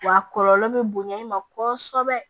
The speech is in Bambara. Wa a kɔlɔlɔ bɛ bonya i ma kɔsɛbɛ